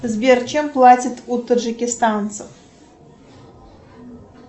сбер чем платят у таджикистанцев